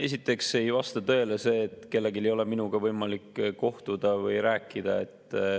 Esiteks ei vasta tõele see, et kellelgi ei ole minuga võimalik kohtuda või rääkida.